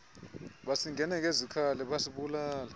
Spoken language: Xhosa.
basingena ngezikhali basibulala